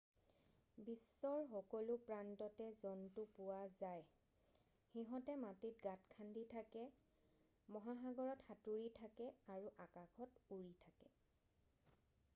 বিশ্বৰ সকলো প্ৰান্ততে জন্তু পোৱা যায় সিহঁতে মাটিত গাত খান্দি থাকে মহাসাগৰত সাঁতুৰি থাকে আৰু আকাশত উৰি থাকে